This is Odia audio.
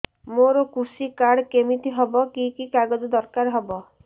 ମୋର କୃଷି କାର୍ଡ କିମିତି ହବ କି କି କାଗଜ ଦରକାର ହବ